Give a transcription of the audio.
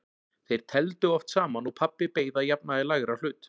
Þeir tefldu oft saman og pabbi beið að jafnaði lægra hlut.